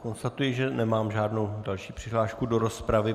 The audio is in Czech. Konstatuji, že nemám žádnou další přihlášku do rozpravy.